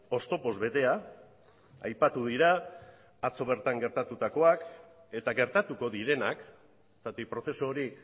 oztopoz betea aipatu dira atzo gertatutakoak eta gertatuko direnak zergatik prozesu hori